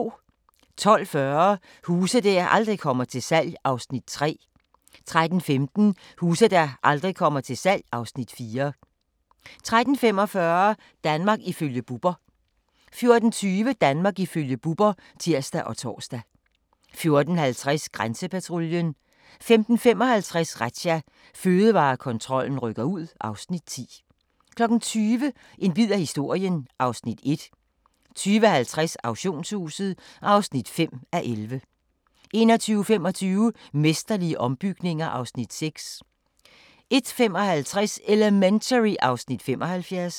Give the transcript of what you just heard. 12:40: Huse der aldrig kommer til salg (Afs. 3) 13:15: Huse der aldrig kommer til salg (Afs. 4) 13:45: Danmark ifølge Bubber 14:20: Danmark ifølge Bubber (tir og tor) 14:50: Grænsepatruljen 15:55: Razzia – Fødevarekontrollen rykker ud (Afs. 10) 20:00: En bid af historien (Afs. 1) 20:50: Auktionshuset (5:11) 21:25: Mesterlige ombygninger (Afs. 6) 01:55: Elementary (Afs. 75)